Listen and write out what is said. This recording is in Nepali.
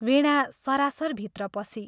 वीणा सरासर भित्र पसी।